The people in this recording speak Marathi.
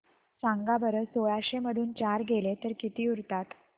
सांगा बरं सोळाशे मधून चार गेले तर किती उरतात